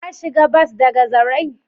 Ka shiga bas daga zarai?